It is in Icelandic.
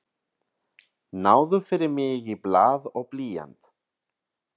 Náðu fyrir mig í blað og blýant.